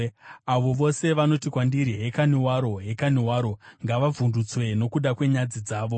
Avo vose vanoti kwandiri, “Hekani waro! Hekani waro!” ngavavhundutswe nokuda kwenyadzi dzavo.